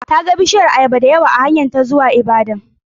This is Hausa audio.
Ta ga bishiyun ayaba dayawa akan hanyarta ta zuwa jihar Ibadan.